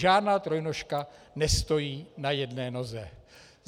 Žádná trojnožka nestojí na jedné noze.